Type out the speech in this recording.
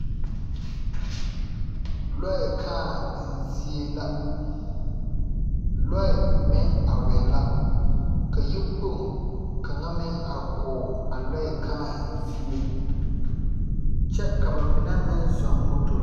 Lɔɛ kᾱᾱ enzie la. Lɔɛ meŋ arɛɛ la, ka yikpoŋ kaŋa meŋ are kɔge a lɔɛ kᾱᾱ enzie. Kyɛ ka ba mine meŋ zɔɔŋ motori.